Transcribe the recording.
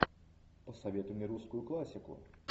посоветуй мне русскую классику